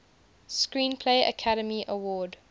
screenplay academy award